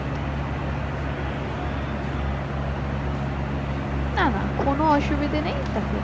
না না কোন অসুবিধে নেই দেখো